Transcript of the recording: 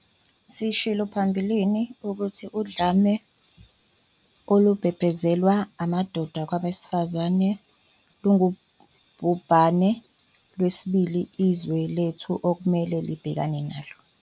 Sishilo phambilini ukuthi udlame olubhebhezelwa amadoda kwabesifazane lungubhubhane lwesibili izwe lethu okumele libhekane nalo.